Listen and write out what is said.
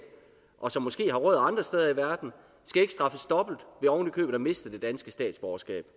og som måske har rødder andre steder i verden skal ikke straffes dobbelt ved oven i købet at miste det danske statsborgerskab